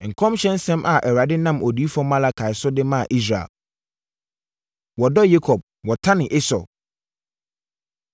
Nkɔmhyɛ nsɛm a Awurade nam Odiyifoɔ Malaki so de maa Israel. Wɔdɔ Yakob, Wɔtane Esau